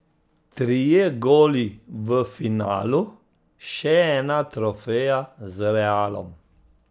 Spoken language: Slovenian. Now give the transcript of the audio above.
Trije goli v finalu, še ena trofeja z Realom ...